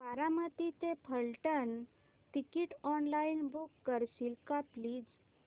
बारामती ते Phaltan ticket online book करशील का प्लीज